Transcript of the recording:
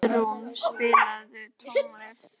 Baldrún, spilaðu tónlist.